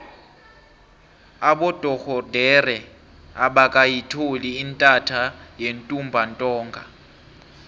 abodorhodere abakayitholi intatha yentumbantonga